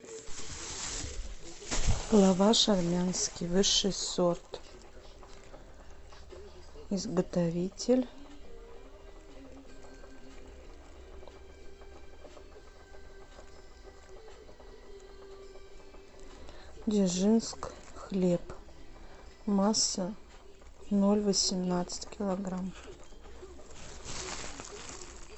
лаваш армянский высший сорт изготовитель дзержинск хлеб масса ноль восемнадцать килограмм